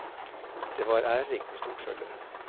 Det var ærerikt med stort følge.